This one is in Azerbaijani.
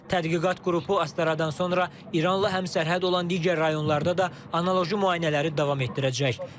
Tədqiqat qrupu Astaradan sonra İranla həmsərhəd olan digər rayonlarda da analoji müayinələri davam etdirəcək.